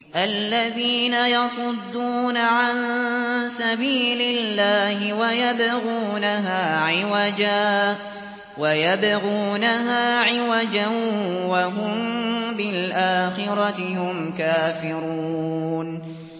الَّذِينَ يَصُدُّونَ عَن سَبِيلِ اللَّهِ وَيَبْغُونَهَا عِوَجًا وَهُم بِالْآخِرَةِ هُمْ كَافِرُونَ